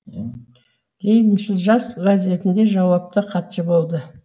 лениншіл жас газетінде жауапты хатшы болды